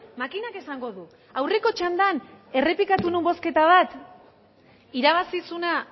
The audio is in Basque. makinak esango du aurreko txandan errepikatu nuen bozketa bat irabazi zuena